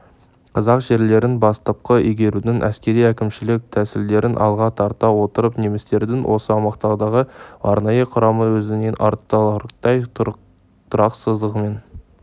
қазақ жерлерін бастапқы игерудің әскери-әкімшілік тәсілдерін алға тарта отырып немістердің осы аумақтардағы арнайы құрамы өзінің айтарлықтай тұрақсыздығымен